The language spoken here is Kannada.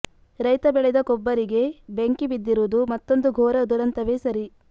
ರೈತ ಬೆಳೆದ ಕೊಬ್ಬರಿಗೆ ಬೆಂಕಿ ಬಿದ್ದಿರುವುದು ಮತ್ತೊಂದು ಘೋರ ದುರಂತವೇ ಸರಿ